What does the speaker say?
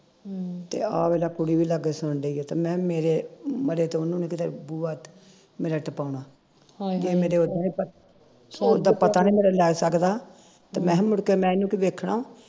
ਤੇ ਆਹ ਵੇਖਲਾ ਕੁੜੀ ਵੀ ਲਾਗੇ ਸੁਣਦੀ ਓ ਤੇ ਮੈਂ ਮੇਰੇ ਮਰੇ ਤੇ ਉਹਨੂੰ ਨੂੰ ਕਿਤੇ ਬੂਹਾ ਮੇਰਾ ਟਪਾਉਣਾ ਇਹ ਮੇਰੇ ਹੁਣ ਦਾ ਪਤਾ ਨਹੀਂ ਮੇਰਾ ਲੈ ਸਕਦਾ ਤੇ ਮੈਂ ਮੁੜਕੇ ਮੈਂ ਇਹਨੂੰ ਕੀ ਵੇਖਣਾ